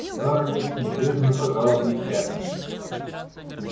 скарлетт небрежно пожала плечами